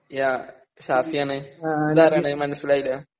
യാ ഷാഫിയാണ് ഇതാരാണ് മനസ്സിലായില്ല.